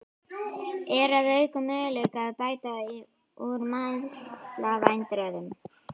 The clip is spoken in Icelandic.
Er að auki möguleiki á að bæta úr meiðslavandræðunum?